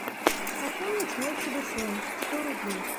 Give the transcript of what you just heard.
пополнить мой телефон сто рублей